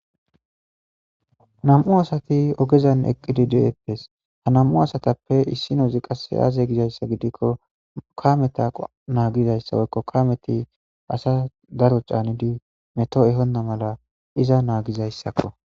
Nam'u asati ogezan eqqidi deettes ha nam'u asatappe issi nozi qasse aaze gizayssa gidikko ka meta naagizayssawoykko ka meti asa daro caanidi meto ehonna mala iza naagizayssakko.